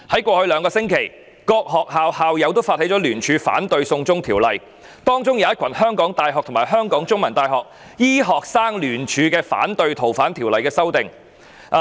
過去兩星期，各學校的校友發起聯署反對"送中條例"，包括一群港大及香港中文大學醫科生聯署聲明反對對《逃犯條例》的修訂。